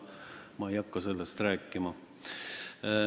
Ma ei hakka sellest rääkima.